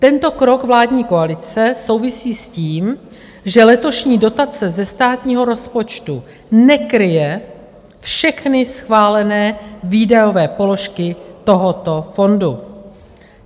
Tento krok vládní koalice souvisí s tím, že letošní dotace ze státního rozpočtu nekryje všechny schválené výdajové položky tohoto fondu.